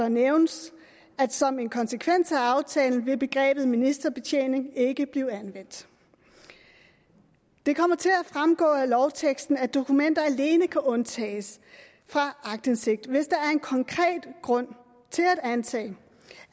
nævnes at som en konsekvens af aftalen vil begrebet ministerbetjening ikke blive anvendt det kommer til at fremgå af lovteksten at dokumenter alene kan undtages fra aktindsigt hvis der er en konkret grund til at antage